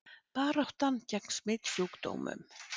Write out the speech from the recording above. Baráttan gegn smitsjúkdómum